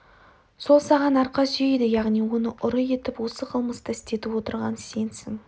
сол саған арқа сүйейді яғни оны ұры етіп осы қылмысты істетіп отырған сенсің